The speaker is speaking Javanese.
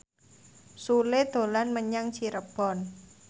Sule dolan menyang Cirebon